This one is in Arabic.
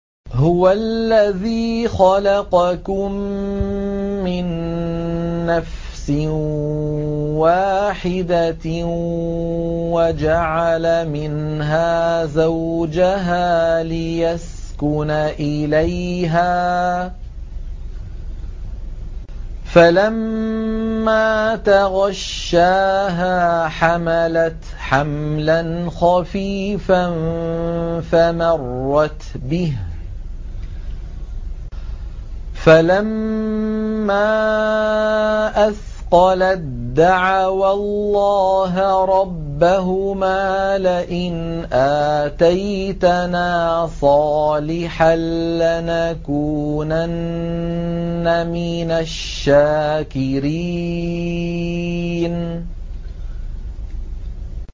۞ هُوَ الَّذِي خَلَقَكُم مِّن نَّفْسٍ وَاحِدَةٍ وَجَعَلَ مِنْهَا زَوْجَهَا لِيَسْكُنَ إِلَيْهَا ۖ فَلَمَّا تَغَشَّاهَا حَمَلَتْ حَمْلًا خَفِيفًا فَمَرَّتْ بِهِ ۖ فَلَمَّا أَثْقَلَت دَّعَوَا اللَّهَ رَبَّهُمَا لَئِنْ آتَيْتَنَا صَالِحًا لَّنَكُونَنَّ مِنَ الشَّاكِرِينَ